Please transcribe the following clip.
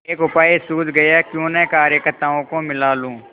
एक उपाय सूझ गयाक्यों न कार्यकर्त्ताओं को मिला लूँ